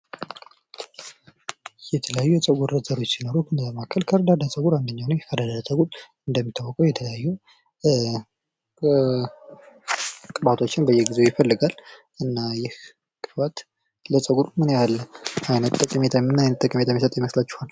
የተለያዩ የፀጉር ዘሮች ሲኖሩ ከኒያ መካከል ከርዳዳ ፀጉር አንደኛው ነው። ከርዳዳ ፀጉር እንደሚታወቀው የተለያዩ ቅባቶችን በየጊዜው ይፈልጋል። እና ይህ ቅባት ለፀጉር ምን ያህል ጠቀሜታ የሚሰጥ ይመስላችኋል?